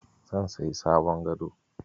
Zan sayi sabon gado.